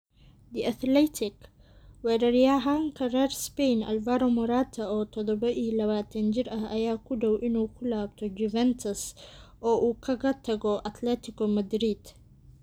(The Athletic) Weeraryahanka reer Spain Alvaro Morata, oo todobaa iyo labatan jir ah, ayaa ku dhow inuu ku laabto Juventus oo uu kaga tago Atletico Madrid.